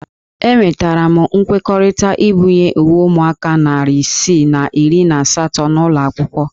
Enwetara m nkwekọrịta ibunye uwe ụmụaka narị isii na iri na asatọ n'ụlọ akwụkwọ